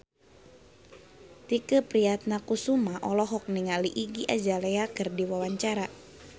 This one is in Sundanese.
Tike Priatnakusuma olohok ningali Iggy Azalea keur diwawancara